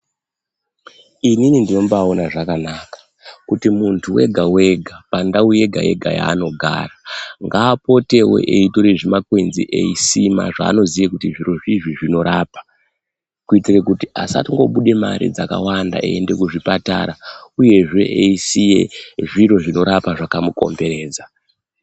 Inini ndinombaaona zvakanaka kuti munthu wega wega pandau yega yega yaanogara ngaapotewo eitore zvimakwenzi eisima zvaanoziya kuti zvirozvizvi zvinorapa kuitira kuti asatombobuda mare dzakawanda eienda kuzvipatara uyezve eisiye zviro zvinorapa zvakamukomberedza.